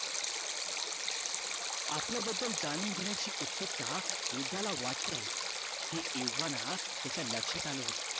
आपल्या बद्दल जाणून घेण्याची उत्सुकता वृद्धाला वाटलंय हे एव्हाना त्याच्या लक्ष्यात आला होत